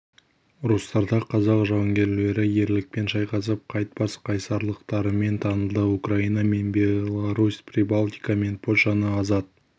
ұрыстарда қазақ жауынгерлері ерлікпен шайқасып қайтпас қайсарлықтарымен танылды украина мен беларусь прибалтика мен польшаны азат